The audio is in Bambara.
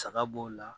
Saga b'o la